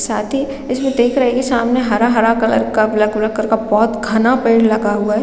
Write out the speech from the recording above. साथ ही इसमें देख रहै है की सामने हरा - हरा कलर का ब्लैक उलेक कलर का बहुत घना पेड़ लगा हुआ है।